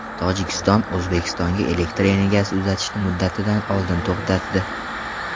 Tojikiston O‘zbekistonga elektr energiyasi uzatishni muddatidan oldin to‘xtatdi.